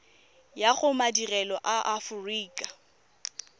ya go madirelo a aforika